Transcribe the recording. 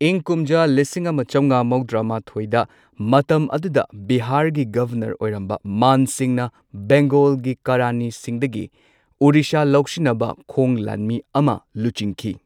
ꯏꯪ ꯀꯨꯝꯖꯥ ꯂꯤꯁꯤꯡ ꯑꯃ ꯆꯝꯉꯥ ꯃꯧꯗ꯭ꯔꯥ ꯃꯥꯊꯣꯏꯗ ꯃꯇꯝ ꯑꯗꯨꯗ ꯕꯤꯍꯥꯔꯒꯤ ꯒꯚꯔꯅꯔ ꯑꯣꯏꯔꯝꯕ ꯃꯥꯟ ꯁꯤꯡꯍꯅ ꯕꯦꯡꯒꯣꯜꯒꯤ ꯀꯔꯔꯥꯅꯤꯁꯤꯡꯗꯒꯤ ꯑꯣꯔꯤꯁꯥ ꯂꯧꯁꯤꯟꯅꯕ ꯈꯣꯡ ꯂꯥꯟꯃꯤ ꯑꯃ ꯂꯨꯆꯤꯡꯈꯤ꯫